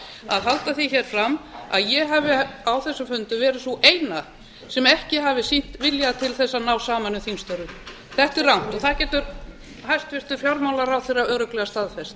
að halda því hér fram að ég hafi á þessum fundum verið sú eina sem ekki hafi sýnt vilja til þess að ná saman um þingstörfin þetta er rangt það getur hæstvirtur fjármálaráðherra örugglega staðfest